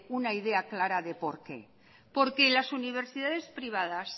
una idea clara de por qué porque las universidades privadas